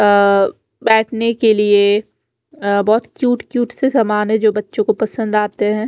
अ बेटने के लिए अ बहोत क्यूट क्यूट से समान है जो बच्चो को पसंद आते है।